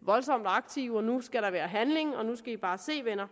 voldsomt aktive og nu skal der være handling og nu skal i bare se venner